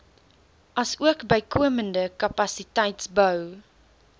asook bykomende kapasiteitsbou